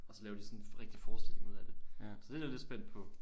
Og så laver de sådan en rigtig forestilling ud af det så det er jeg lidt spændt på